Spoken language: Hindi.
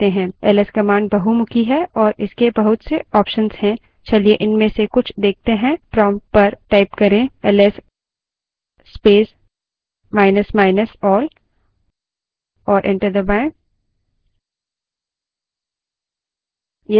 ls command बहुमुखी है और इसके बहुत से options हैं चलिए इनमें से कुछ देखते हैं prompt पर ls space minus minus all type करें और enter दबायें